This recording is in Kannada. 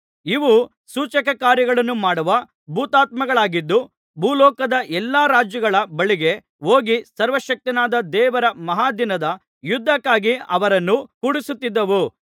ಇವು ಸೂಚಕಕಾರ್ಯಗಳನ್ನು ಮಾಡುವ ಭೂತಾತ್ಮಗಳಾಗಿದ್ದು ಭೂಲೋಕದ ಎಲ್ಲಾ ರಾಜರುಗಳ ಬಳಿಗೆ ಹೋಗಿ ಸರ್ವಶಕ್ತನಾದ ದೇವರ ಮಹಾದಿನದ ಯುದ್ಧಕ್ಕಾಗಿ ಅವರನ್ನು ಕೂಡಿಸುತ್ತಿದ್ದವು